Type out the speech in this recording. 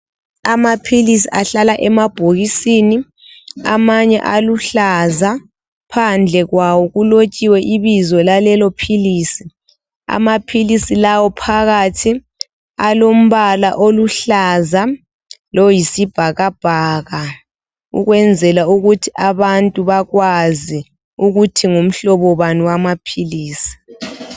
amaphilisi ahlala emabhokisini amanye aluhlaza phandle kwawo kulotshiwe ibizo lalelo philisi amaphilisi lawa phakathi alombala oluhlaza loyisibhakabhaka ukwenzela ukuthi abantu bakwazi ukuthi ngumhlobo bani wamaphilisi